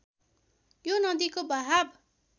यो नदिको बहाब